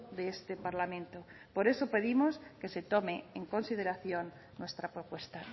de este parlamento por eso pedimos que se tome en consideración nuestra propuesta